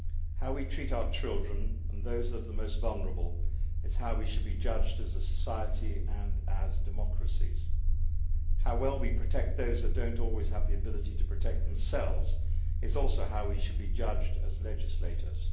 How we treat our children, and those of the most vulnerable, is how we should be judged as a society and as democracies. How well we protect those that do not always have the ability to protect themselves is also how we should be judged as legislators.